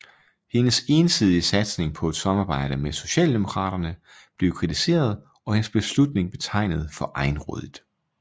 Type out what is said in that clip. Hendes ensidige satsning på et samarbejde med Socialdemokraterne blev kritiseret og hendes beslutning betegnet for egenrådigt